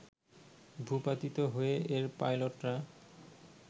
ভূপাতিত হয়ে এর পাইলটরা